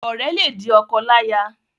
Ọrẹ le di ọkọláya.